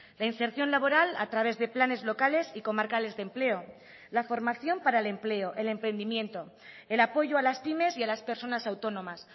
la inserción laboral a través de planes locales y comarcales de empleo la formación para el empleo el emprendimiento el apoyo a las pymes y a las personas autónomas